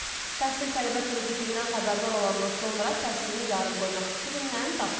Təhsil tələbə kreditindən xəbərdar olandan sonra təhsilini yarım qoymaq fikrindən daşınıb.